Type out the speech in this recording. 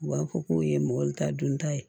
U b'a fɔ k'o ye mɔgɔnitan ye